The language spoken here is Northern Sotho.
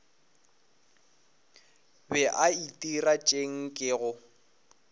be a itira tše nkego